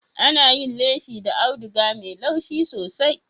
Ana yin leshi da audiga mai laushi sosai.